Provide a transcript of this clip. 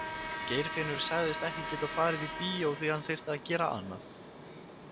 Geirfinnur sagðist ekki geta farið í bíó því hann þyrfti að gera annað.